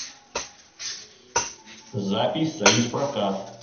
запись союзпрокат